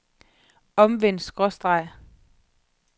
omvendt skråstreg